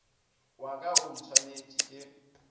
wa ka o ntshwanetše ke